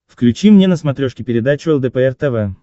включи мне на смотрешке передачу лдпр тв